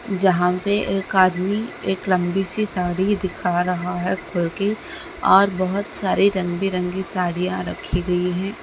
जहाँ पे एक आदमी एक लम्बी सी साड़ी दिखा रहा हैं खोल के और बहुत सारे रंग बिरंगी साड़ियां रखी गई हैं।